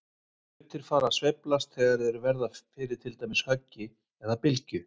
Hlutir fara að sveiflast þegar þeir verða fyrir til dæmis höggi eða bylgju.